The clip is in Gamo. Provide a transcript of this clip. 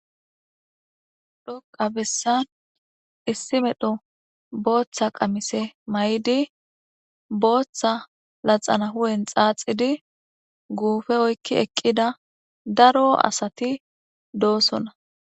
Xoqa bessan issi medho booththa qamise may'idi booththa laxana hu'en xaaxidi guufe oykki eqqida daro asati doosona.